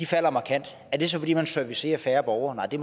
falder markant er det så fordi man servicerer færre borgere nej det